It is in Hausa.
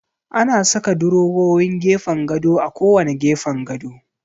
Ana saka durowowin gefen gado a kowanne gefen gado.